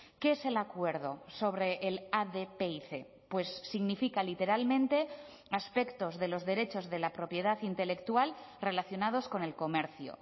qué es el acuerdo sobre el adpic pues significa literalmente aspectos de los derechos de la propiedad intelectual relacionados con el comercio